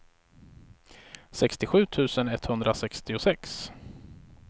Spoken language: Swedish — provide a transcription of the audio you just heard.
sextiosju tusen etthundrasextiosex